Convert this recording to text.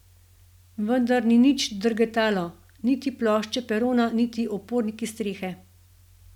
Vendar ni nič drgetalo, niti plošče perona niti oporniki strehe.